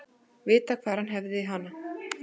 Vita hvar hann hefði hana.